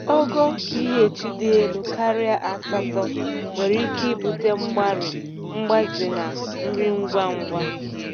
Ogo pH dị elu karịa asatọ nwere ike ibute mgbari mgbaze na nri ngwa ngwa.